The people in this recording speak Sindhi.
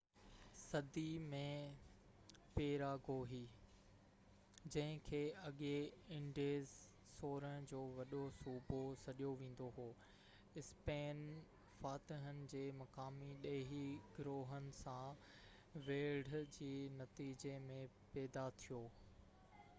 16 صدي ۾ پيراگوي جنهن کي اڳي انڊيز جو وڏو صوبو سڏيو ويندو هو اسپين فاتحن جي مقامي ڏيهي گروهن سان ويڙهه جي نتيجي ۾ پيدا ٿيو